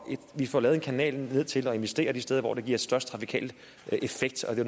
vi får lavet en kanal ned til at investere de steder hvor det giver størst trafikal effekt og det